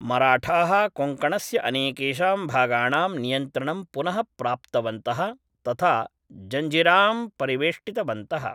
मराठाः कोङ्कणस्य अनेकेषां भागाणां नियन्त्रणं पुनः प्राप्तवन्तः, तथा जञ्जिरां परिवेष्टितवन्तः।